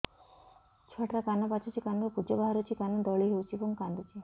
ଛୁଆ ଟା ର କାନ ପାଚୁଛି କାନରୁ ପୂଜ ବାହାରୁଛି କାନ ଦଳି ହେଉଛି ଏବଂ କାନ୍ଦୁଚି